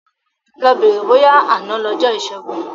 Lọ bèrè bóyá àná lọjọ́ ìṣẹ́gun.